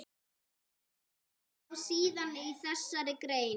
Sjá síðar í þessari grein.